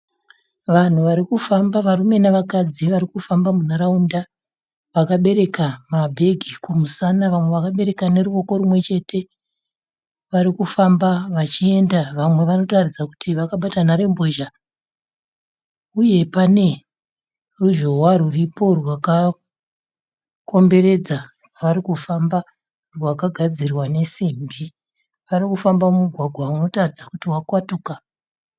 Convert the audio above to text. Vanhu varikufamba, varume nevakadzi varikufamba munharaunda vakabereka mabhegi kumusana Vamwe vakabereka neruoko rimwechete. Varikufamba vachienda, vamwe vanotaridza kuti vakabata nharembozha. Uye pane ruzhowa rwuripo rwakakomberedza pavari kufamba rwagadzirwa nesimbi Varikufamba mumugwagwa unotaridza kuti wakwatuka.